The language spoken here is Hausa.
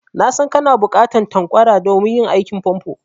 Na san kana buƙatan tanƙwara domin yin aikin famfo.